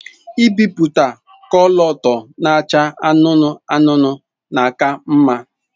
Ibiputa kọlọtọ na-acha anụnụ anụnụ na aka mma.